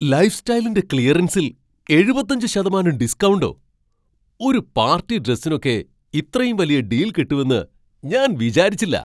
ലൈഫ്സ്റ്റൈലിന്റെ ക്ലിയറൻസിൽ എഴുപത്തഞ്ച് ശതമാനം ഡിസ്കൗണ്ടോ! ഒരു പാർട്ടി ഡ്രസ്സിനൊക്കെ ഇത്രയും വലിയ ഡീൽ കിട്ടുമെന്ന് ഞാൻ വിചാരിച്ചില്ല.